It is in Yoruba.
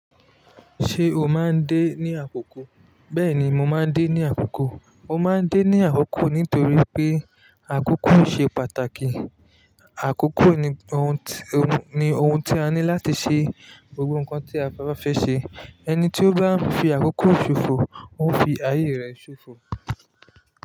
Ṣé o máa ń dé ní àkókò? Bẹ́ẹ̀ni, mo máa ń dé ní àkókò. Mo máa ń dé ní àkókò nítorí pé àkókò ṣe pàtàkì. Àkókò ni ohun, ohun ni ohun tí a ní láti ṣe gbogbo nǹkan tí a ba fẹ́ ṣe. Ẹni tí ó bá ń fi àkókò ṣòfò, ó ń fi ayé rẹ̀ ṣòfò.